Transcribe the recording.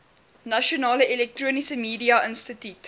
nasionale elektroniese mediainstituut